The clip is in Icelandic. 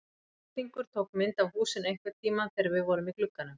Útlendingur tók mynd af húsinu einhvern tímann þegar við vorum í glugganum.